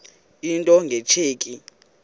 into nge tsheki